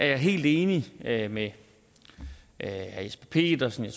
jeg helt enig med med herre jesper petersen og